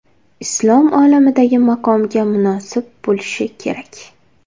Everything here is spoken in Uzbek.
islom olamidagi maqomiga munosib bo‘lishi kerak.